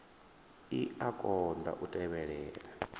i a konḓa u tevhelela